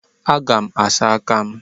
Aga m asa aka m.